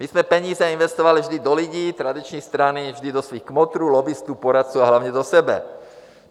My jsme peníze investovali vždy do lidí, tradiční strany vždy do svých kmotrů, lobbistů, poradců, a hlavně do sebe.